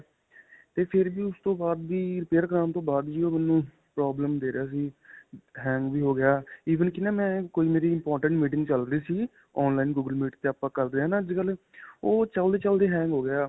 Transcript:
ਤੇ ਫਿਰ ਵੀ ਉਸ ਤੋਂ ਬਾਅਦ ਵੀ repair ਕਰਵਾਉਣ ਤੋਂ ਬਾਅਦ ਵੀ ਓਹ ਮੈਨੂੰ problem ਦੇ ਰਿਹਾ ਸੀ. hang ਵੀ ਹੋ ਗਿਆ even ਕੀ ਨਾ ਮੈਂ ਕੋਈ ਮੇਰੀ important meeting ਚੱਲ ਰਹੀ ਸੀ. online google meet ਤੇ ਆਪਾਂ ਕਰਦੇ ਹਾਂ ਨਾਂ ਅੱਜਕਲ੍ਹ. ਓਹ ਚਲਦੇ ਚਲਦੇ hang ਹੋ ਗਿਆ.